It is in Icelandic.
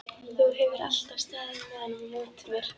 Þú hefur alltaf staðið með honum á móti mér.